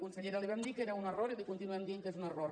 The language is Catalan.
consellera li vam dir que era un error i li continuem dient que és un error